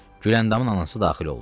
Güləndamın anası daxil oldu.